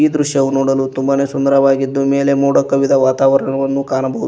ಈ ದೃಶ್ಯವು ನೋಡಲು ತುಂಬಾನೆ ಸುಂದರವಾಗಿದ್ದು ಮೇಲೆ ಮೋಡ ಕವಿದ ವಾತಾವರಣವನ್ನು ಕಾಣಬಹುದು.